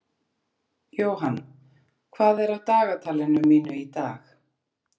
Johan, hvað er á dagatalinu mínu í dag?